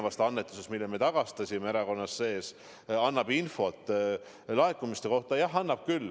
Meil on nüüd uus kord tulenevalt ühest eelmisest annetusest, mille me tagastasime.